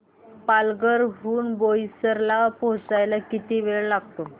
पालघर हून बोईसर ला पोहचायला किती वेळ लागतो